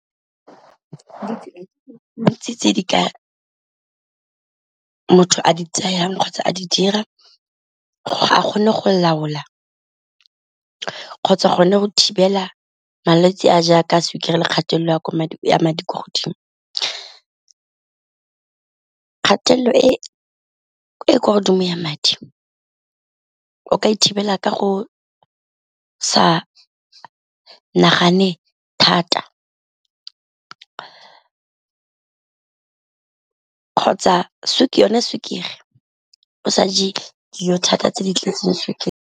Ditsela tse dintsi tse di ka motho a di tsayang kgotsa a di dira gore a kgone go laola kgotsa gone go thibela malwetse a jaaka a sukiri le kgatelelo ya madi ko godimo, kgatelelo e e kwa godimo ya madi o ka ithekela ka go sa nagane thata kgotsa yone sukiri o sa je dijo thata tse di tletseng sukiri.